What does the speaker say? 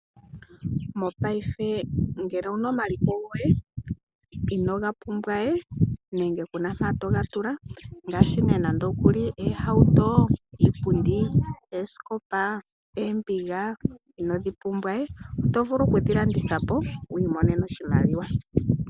Mopaife ngele owu na omaliko goye inooga pumbwa we nenge ku na mpo to ga tula ngaashi oohauto, iipundi, oosikopa noombiga inoodhi pumbwa we oto vulu okudhi landitha po wi imonene oshimaliwa.